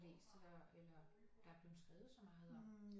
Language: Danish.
Læst eller der er blevet skrevet så meget om